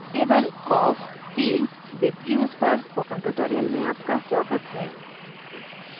table of fields with views पर spoken tutorial more आपका स्वागत है